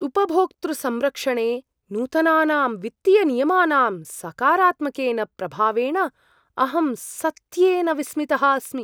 उपभोक्तृसंरक्षणे नूतनानां वित्तीयनियमानां सकारात्मकेन प्रभावेण अहं सत्येन विस्मितः अस्मि।